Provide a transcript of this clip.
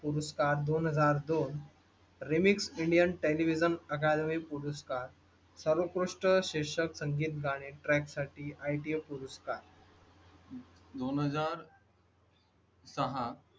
पुरस्कार दोन हजार दो remix indian television academy पुरस्कार, सर्वोत्कृष्ट शीर्षक, संगीत गाणी trach साठी ITA पुरस्कार . दोन हजार सहा.